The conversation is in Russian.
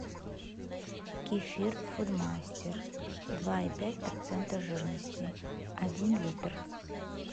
кефир фудмастер два и пять процента жирности один литр